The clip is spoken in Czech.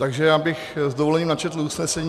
Takže já bych s dovolením načetl usnesení.